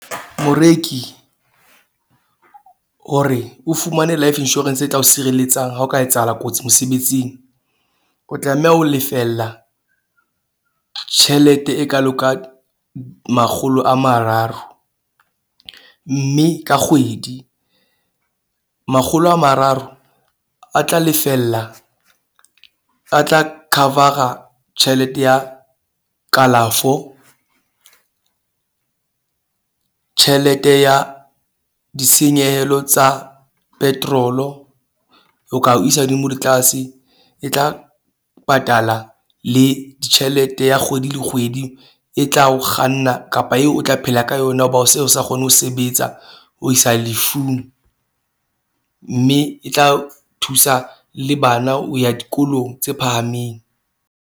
Moreki, hore o fumane life insurance e tla o sireletsang. Ha ho ka etsahala kotsi mosebetsing, o tlameha ho lefella tjhelete e kaalo ka makgolo a mararo. Mme ka kgwedi makgolo a mararo a tla lefella a tla cover-ra tjhelete ya kalafo. Tjhelete ya ditshenyehelo tsa petrol-i, o ka o isa hodimo le tlase e tla patala le tjhelete ya kgwedi le kgwedi e tla o kganna. Kapa eo o tla phela ka yona hoba o se o sa kgone ho sebetsa ho isa lefung. Mme e tla thusa le bana o ya dikolong tse phahameng.